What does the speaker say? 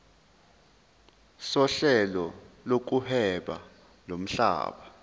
sohlelo lokuhweba lomhlaba